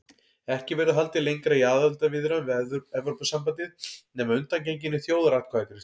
Ekki verður haldið lengra í aðildarviðræðum við Evrópusambandið nema að undangenginni þjóðaratkvæðagreiðslu.